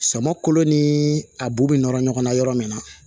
Sama kolo ni a bu bɛ nɔrɔ ɲɔgɔn na yɔrɔ min na